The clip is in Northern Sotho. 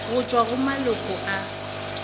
go tšwa go maloko a